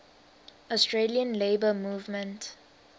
australian labour movement